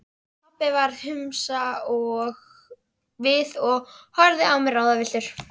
Pabbi varð hvumsa við og horfði á mig ráðvilltur.